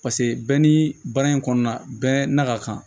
Paseke bɛɛ ni baara in kɔnɔna na bɛɛ na ka kan